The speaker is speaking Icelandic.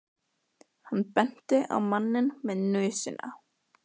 Hann benti á manninn með nösina.